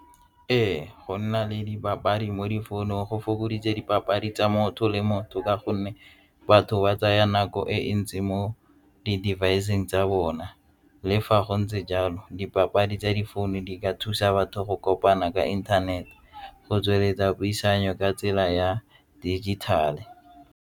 Ee, go nna le dipapadi mo difounung go fokoditse dipapadi tsa motho le motho ka gonne batho ba tsaya nako e ntsi mo di-device-seng tsa bona. Le fa go ntse jalo dipapadi tsa difounu di ka thusa batho go kopana ka inthanete go tsweletsa puisano ka tsela ya dijithale.